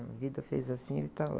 A vida fez assim e ele está lá.